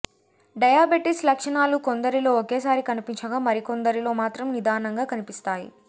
diabetes లక్షణాలు కొందరిలో ఒకేసారి కనిపించగా మరికొందరిలో మాత్రం నిదానంగా కనిపిస్తాయి